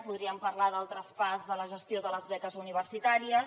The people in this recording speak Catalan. podríem parlar del traspàs de la gestió de les beques universitàries